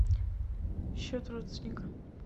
счет родственника